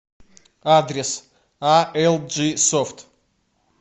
адрес а эл джи софт